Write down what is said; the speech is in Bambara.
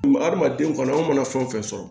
Hadamaden kɔni an mana fɛn fɛn sɔrɔ